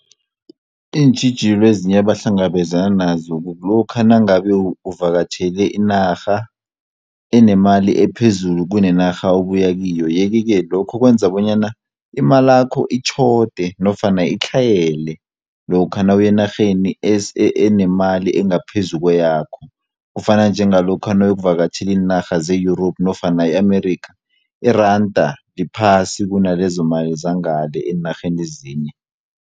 Iintjhijilo ezinye ebahlangabezana nazo kukulokha nangabe uvakatjhele inarha enemali ephezulu kunenarha obuya kiyo yeke-ke lokho kwenza bonyana imalakho itjhode nofana itlhayele lokha nawuya enarheni enemali engaphezu kweyakho kufana njengalokha nawu yokuvakatjhela inarha ze-Europe nofana i-Amerika iranda liphasi kunalezomali zangale eenarheni ezinye.